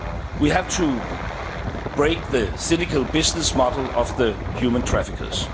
done. We have to break the cynical business model of human traffickers.